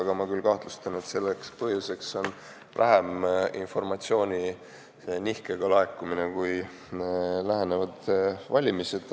Samas ma kahtlustan, et selle põhjuseks pole niivõrd informatsiooni nihkega laekumine, kuivõrd lähenevad valimised.